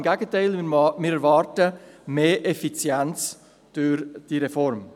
Im Gegenteil: Wir erwarten mehr Effizienz durch diese Reform.